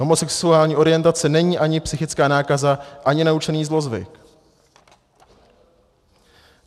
Homosexuální orientace není ani psychická nákaza, ani naučený zlozvyk."